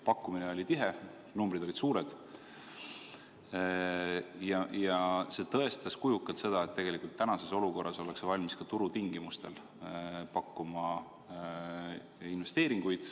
Pakkumine oli tihe, numbrid olid suured ja see tõestas kujukalt seda, et tegelikult praeguses olukorras ollakse valmis ka turutingimustel pakkuma investeeringuid.